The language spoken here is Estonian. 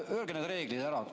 Öelge need reeglid ära.